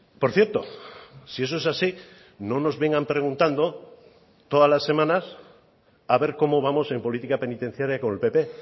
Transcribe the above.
por cierto si eso es así no nos vengan preguntando todas las semanas a ver cómo vamos en política penitenciaria con el pp